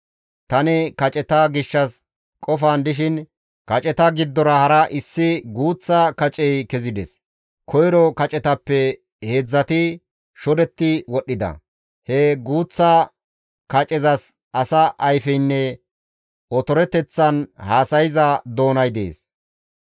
«Tani kaceta gishshas qofan dishin kaceta giddora hara issi guuththa kacey kezides. Koyro kacetappe heedzdzati shodetti wodhdhida; he guuththa kacezas asa ayfeynne otoreteththan haasayza doonay dees.